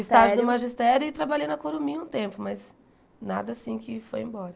O estágio do magistério e trabalhei na Corumim um tempo, mas nada assim que foi embora.